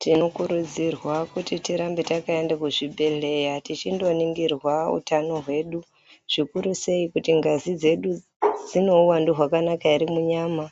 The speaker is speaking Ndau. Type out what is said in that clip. Tinokurudzirwa kuti tirambe takaenda kuzvibhedheya tichindoningirwa utano hwedu, zvikurusei kuti ngazi dzedu dzine uwandu hwakanaka ere munyama.